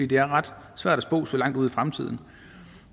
det er ret svært at spå så langt ud i fremtiden